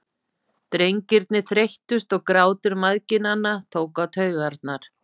Drengirnir þreyttust og grátur mæðginanna tók á taugarnar.